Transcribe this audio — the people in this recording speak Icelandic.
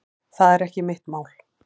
Það er ekki mitt mál.